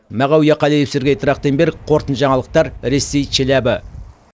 мағауия қалиев сергей трахтенберг қорытынды жаңалықтар ресей челябі